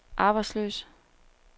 arbejdsløse